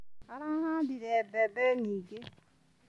Arahandire mbembe nyingĩ.